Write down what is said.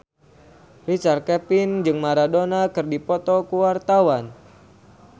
Richard Kevin jeung Maradona keur dipoto ku wartawan